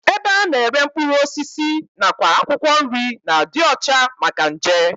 Ebe a na-ere mkpụrụ osisi nakwa akwụkwọ nri na-adị ọcha maka nje